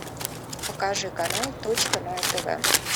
покажи канал точка на тв